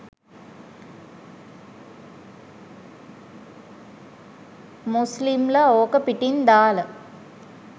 මුස්ලිම්ල ඕක පිටින් දාල